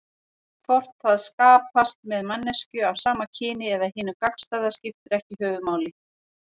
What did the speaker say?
Hvort það skapast með manneskju af sama kyni eða hinu gagnstæða skiptir ekki höfuðmáli.